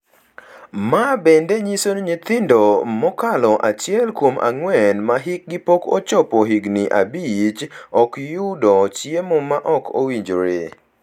ma bende nyiso ni nyithindo mokalo achiel kuom ang’wen ma hikgi pok ochopo higni abich ok yudo chiemo ma ok owinjore.